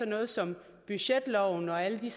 noget som budgetloven og alle de